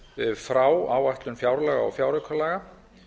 frá áætlun fjárlaga og fjáraukalaga